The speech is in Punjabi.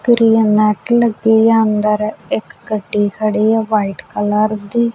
ਅੰਦਰ ਇੱਕ ਗੱਡੀ ਖੜੀ ਹੈ ਵ੍ਹਾਈਟ ਕਲਰ ਦੀ।